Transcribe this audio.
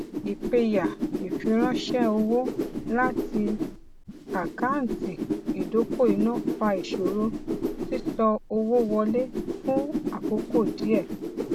ìpẹyà ìfiránṣẹ owó láti àkántì ìdokoìnà fa ìṣòro sísọ owó wọlé fún àkókò díẹ